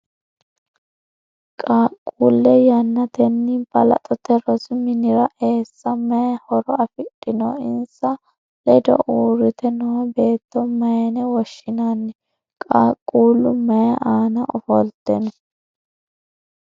Qaaqquule yannatenni balaxote rosi minnira eessa mayi horo afidhino? Insa ledo uurite noo beetto mayinne woshinnanni? Qaaqquullu mayi aanna ofolte no?